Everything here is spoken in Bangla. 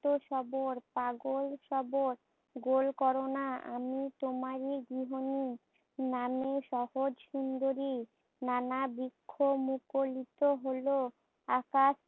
উন্মক্ত সবর, পাগল সবর গোল কোরো না আমি তোমারই গৃহিণী। নামের সহজ সুন্দরী, নানা বৃক্ষ মুখরিত হোল, আকাশ